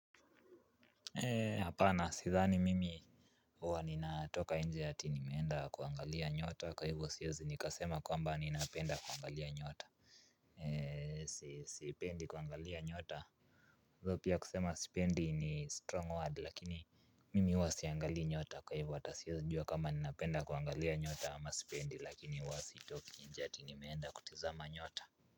Ee hapana sidhani mimi huwa nina toka nje ati nimeenda kuangalia nyota kwa hivo siwezi nikasema kwamba ninapenda kuangalia nyota ee sipendi kuangalia nyota pia kusema sipendi ni strong word lakini mimi huwa siangalii nyota kwa hivo hata siezi jua kama ninapenda kuangalia nyota ama sipendi lakini huwa si oki nje ati nimeenda kutizama nyota.